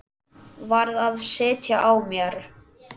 Varð að sitja á mér.